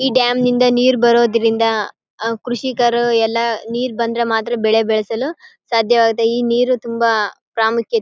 ಈ ಡ್ಯಾಮ ನಿಂದ ನೀರ್ ಬರೋದ್ರಿಂದ ಕೃಷಿಕರು ಎಲ್ಲ ನೀರ್ ಬಂದ್ರೆ ಮಾತ್ರ ಬೆಳೆ ಬೆಳೆಸಲು ಸಾದ್ಯವಾಗತೆ ಈ ನೀರು ತುಂಬಾ ಪ್ರಾಮುಖ್ಯತೆ --